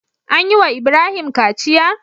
An yi wa Ibrahim kaciya?